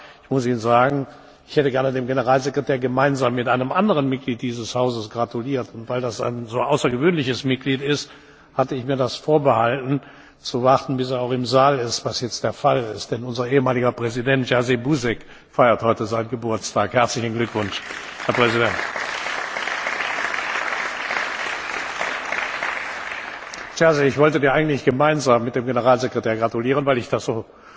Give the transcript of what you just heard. Aber ich hätte dem Generalsekretär gerne gemeinsam mit einem anderen Mitglied dieses Hauses gratuliert, und weil das ein so außergewöhnliches Mitglied ist, hatte ich mir vorbehalten, zu warten, bis er auch im Saal ist, was jetzt der Fall ist. Denn unser ehemaliger Präsident Jerzy Buzek feiert heute seinen Geburtstag. Herzlichen Glückwunsch, Herr Präsident! Jerzy, ich wollte dir eigentlich gemeinsam mit dem Generalsekretär gratulieren, weil ich das